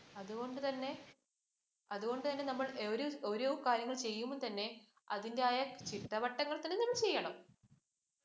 അതുകൊണ്ട് തന്നെ അതുകൊണ്ട് തന്നെ നമ്മള്‍ ഓരോ കാര്യങ്ങൾ ചെയ്യുമ്പോൾ തന്നെ അതിൻ്റെതായ ചിട്ടവട്ടത്തിൽ തന്നെ ചെയ്യണം.